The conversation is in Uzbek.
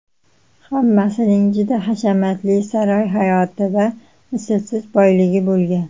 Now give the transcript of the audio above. Hammasining juda hashamatli saroy hayoti va mislsiz boyligi bo‘lgan.